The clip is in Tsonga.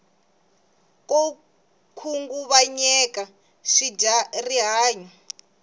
ko khunguvanyeka swi dyaya ri hanyu